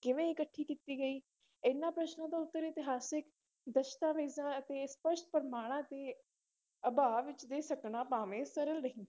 ਕਿਵੇਂ ਇਕੱਠੀ ਕੀਤੀ ਗਈ, ਇਹਨਾਂ ਪ੍ਰਸ਼ਨਾਂ ਦਾ ਉੱਤਰ ਇਤਿਹਾਸਕ ਦਸਤਾਵੇਜ਼ਾਂ ਅਤੇ ਸਪਸ਼ਟ ਪ੍ਰਮਾਣਾਂ ਦੇ ਅਭਾਵ ਵਿੱਚ ਦੇ ਸਕਣਾ ਭਾਵੇਂ ਸਰਲ ਨਹੀਂ,